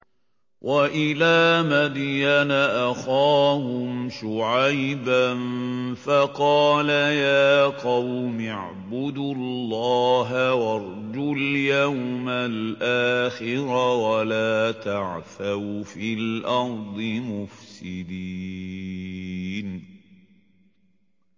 وَإِلَىٰ مَدْيَنَ أَخَاهُمْ شُعَيْبًا فَقَالَ يَا قَوْمِ اعْبُدُوا اللَّهَ وَارْجُوا الْيَوْمَ الْآخِرَ وَلَا تَعْثَوْا فِي الْأَرْضِ مُفْسِدِينَ